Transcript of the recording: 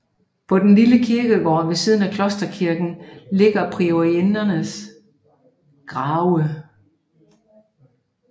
På den lille kirkegård ved siden af klosterkirken ligger priorindernes grave